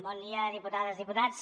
bon dia diputades diputats